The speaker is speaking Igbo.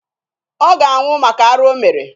Ọ ga-anwụ maka arụ o mere.